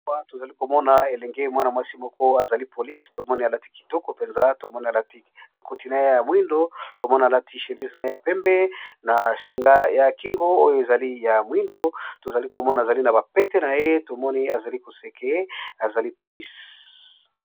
Awa tozali komona elenge mwana mwasi moko azali polise tomoni alati kitoko mpenza tomoni Alati ekoti naye ya mwindo tomoni alati chémise na ye ya pembe na singa ya kingo oyo ezali ya mwindo tozali komona azali na bapete na ye tomoni azali koseke azali polise.